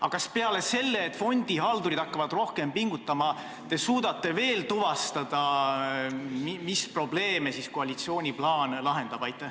Aga kas te peale selle, et fondihaldurid hakkavad rohkem pingutama, suudate tuvastada veel mõne probleemi, mille koalitsiooni plaan lahendab?